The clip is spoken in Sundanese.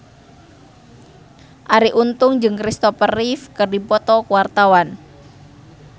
Arie Untung jeung Kristopher Reeve keur dipoto ku wartawan